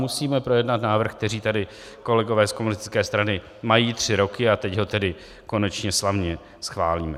Musíme projednat návrh, který tady kolegové z komunistické strany mají tři roky, a teď ho tedy konečně slavně schválíme.